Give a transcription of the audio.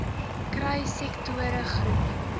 kry sektore groep